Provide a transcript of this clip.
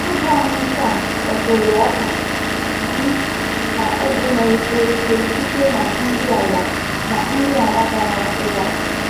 Abụ anyị taa kpọtụrụ oka, ji, na ugu na-eto ike site na nri ala na nri ala bara ụba.